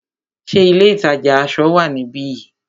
Ṣé ilé ìtajà aṣọ wá níbi yìí?